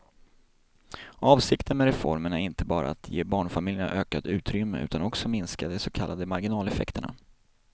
Avsikten med reformen är inte bara att ge barnfamiljerna ökat utrymme utan också minska de så kallade marginaleffekterna.